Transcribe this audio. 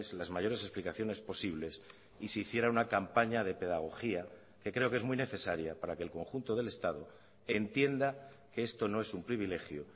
las mayores explicaciones posibles y se hiciera una campaña de pedagogía que creo que es muy necesaria para que el conjunto del estado entienda que esto no es un privilegio